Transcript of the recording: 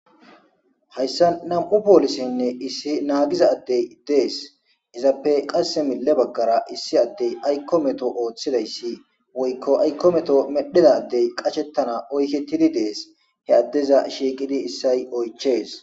hayssa nam7u poolisinne issi naagiza addey dees izappe qasse mille baggara issi addey aykko meto ooththidayssi woykko aykko meto medhidadey qashettana oykettidi dees he addeza shiiqidi issay oychees